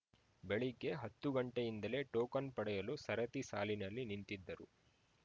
ಬೆಳಗ್ಗೆ ಹತ್ತು ಗಂಟೆಯಿಂದಲೇ ಟೋಕನ್‌ ಪಡೆಯಲು ಸರತಿ ಸಾಲಿನಲ್ಲಿ ನಿಂತಿದ್ದರು